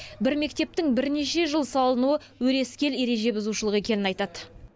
бір мектептің бірнеше жыл салынуы өрескел ереже бұзушылық екенін айтады